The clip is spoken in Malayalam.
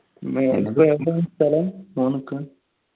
ഏതാണ് സ്ഥലം